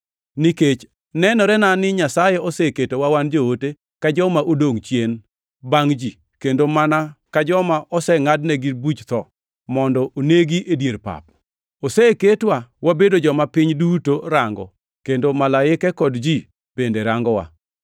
Nikech nenorena ni Nyasaye oseketowa wan joote, ka joma odongʼ chien bangʼ ji, kendo mana ka joma osengʼadnegi buch tho mondo onegi e dier pap. Oseketwa wabedo joma piny duto rango kendo malaike kod ji bende rangowa.